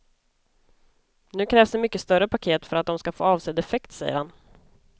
Nu krävs det mycket större paket för att de ska få avsedd effekt, säger han.